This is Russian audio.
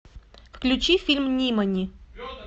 включи фильм нимани